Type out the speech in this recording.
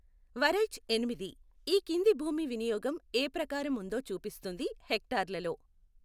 వరైఛ్ ఎనిమిది, ఈ కింది భూమి వినియోగం ఏ ప్రకారం ఉందో చూపిస్తుంది హెక్టార్లలో.